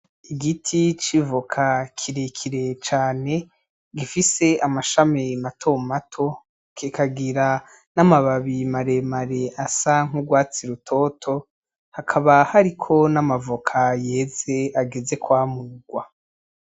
Igiti c'ivoka kirekire cane gifise amashami mato mato kikagira n'amababi maremare asa nk'urwatsi rutoto, hakaba hariko n'amavoka yeze ageze kwamurwa.